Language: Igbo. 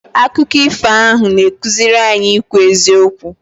Akụkọ ifo ahụ na-akụziri anyị ikwu eziokwu.